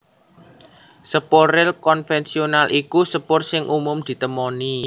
Sepur ril konvensional iku sepur sing umum ditemoni